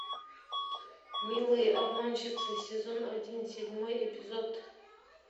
милые обманщицы сезон один седьмой эпизод